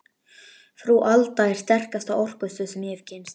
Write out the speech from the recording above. Frú Alda er sterkasta orkustöð sem ég hef kynnst.